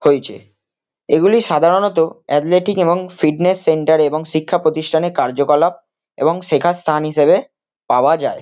হয়েছে। এগুলি সাধারণত অ্যাথলেটিক এবং ফিটনেস সেন্টার এবং শিক্ষা প্রতিষ্ঠানের কার্যকলাপ এবং শেখার স্থান হিসেবে পাওয়া যায়।